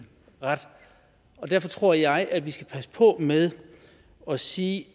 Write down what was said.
ret derfor tror jeg at vi skal passe på med at sige